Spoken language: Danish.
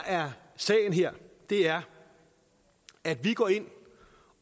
er sagen her er at vi går ind